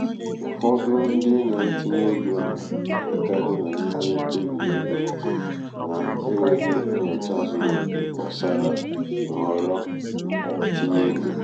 ụfọdụ ndị na-etinye ego na-agakarị n'ịme mkpebi ego n’enweghị nnyocha zuru oke gbasara nhọrọ itinye ego.